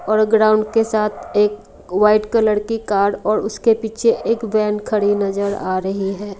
और ग्राउंड के साथ एक व्हाइट कलर की कार और उसके पीछे एक वैन खड़ी नजर आ रही है।